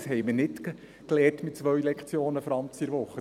Das haben wir nicht mit 2 Lektionen pro Woche gelernt.